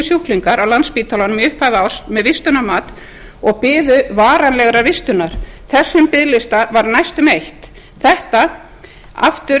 sjúklingar á landspítalanum í upphafi árs með vistunarmat og bið varanlegrar vistunar þessum biðlista var næstum eytt þetta aftur